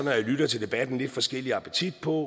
jeg lytter til debatten lidt forskellig appetit på